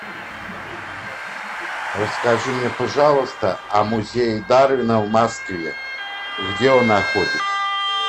расскажи мне пожалуйста о музее дарвина в москве и где он находится